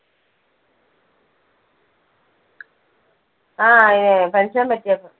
ആ അതിന് തന്നെ pension പറ്റിയപ്പോ.